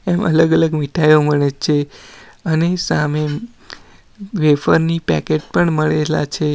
અલગ અલગ મીઠાઈઓ મળે છે અને સામે વેફર ની પેકેટ પણ મળેલા છે.